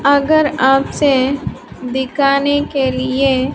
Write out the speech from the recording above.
अगर आपसे दिकाने के लिए--